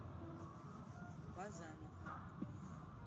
базанов